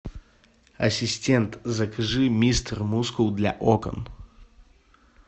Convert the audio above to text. ассистент закажи мистер мускул для окон